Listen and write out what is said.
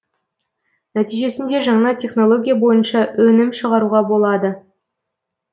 нәтижесінде жаңа технология бойынша өнім шығаруға болады